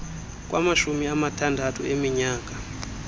kwamashumi amathandathu eminyaka